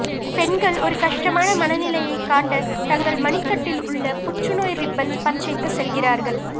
பெண்கள் ஒரு கஷ்டமான மனநிலையை காட்ட தங்கள் மணிக்கட்டில் உள்ள புற்றுநோய் ரிப்பன் பச்சைக்கு செல்கிறார்கள்